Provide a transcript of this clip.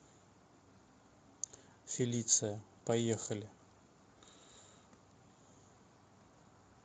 фелиция поехали